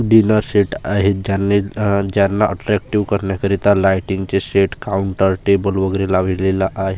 dinner set आहेत ज्यांनी अह ज्यांना आट्रॅक्टिव्ह करण्याकरिता लायटिंगचे सेट काउंटर टेबल वगैरे लावलेला आ--